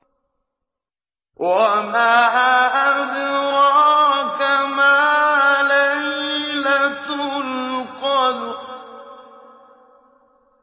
وَمَا أَدْرَاكَ مَا لَيْلَةُ الْقَدْرِ